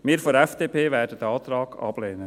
Wir von der FDP werden diesen Antrag ablehnen.